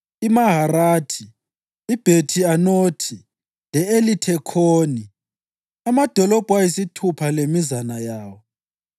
iMaharathi, iBhethi-Anothi le-Elithekhoni, amadolobho ayisithupha lemizana yawo.